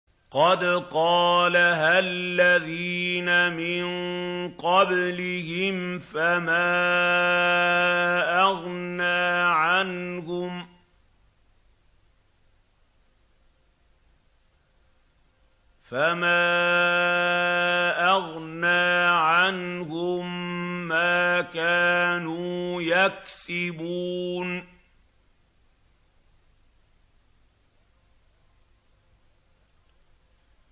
قَدْ قَالَهَا الَّذِينَ مِن قَبْلِهِمْ فَمَا أَغْنَىٰ عَنْهُم مَّا كَانُوا يَكْسِبُونَ